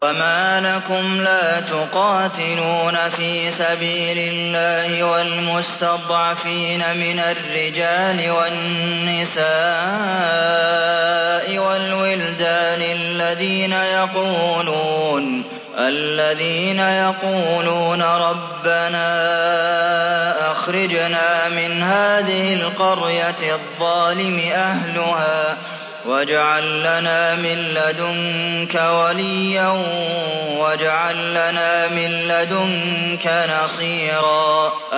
وَمَا لَكُمْ لَا تُقَاتِلُونَ فِي سَبِيلِ اللَّهِ وَالْمُسْتَضْعَفِينَ مِنَ الرِّجَالِ وَالنِّسَاءِ وَالْوِلْدَانِ الَّذِينَ يَقُولُونَ رَبَّنَا أَخْرِجْنَا مِنْ هَٰذِهِ الْقَرْيَةِ الظَّالِمِ أَهْلُهَا وَاجْعَل لَّنَا مِن لَّدُنكَ وَلِيًّا وَاجْعَل لَّنَا مِن لَّدُنكَ نَصِيرًا